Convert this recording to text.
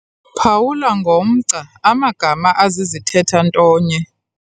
Phawula ngomgca amagama azizithetha-ntonye.